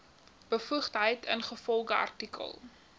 bevoegdheid ingevolge artikel